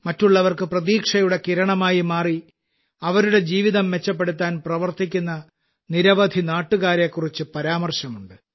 മറ്റുള്ളവർക്ക് പ്രതീക്ഷയുടെ കിരണമായി മാറി അവരുടെ ജീവിതം മെച്ചപ്പെടുത്താൻ പ്രവർത്തിക്കുന്ന നിരവധി നാട്ടുകാരെക്കുറിച്ച് പരാമർശമുണ്ട്